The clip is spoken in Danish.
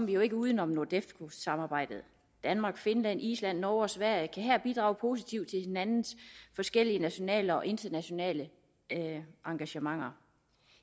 vi jo ikke uden om nordefco samarbejdet danmark finland island norge og sverige kan her bidrage positivt til hinandens forskellige nationale og internationale engagementer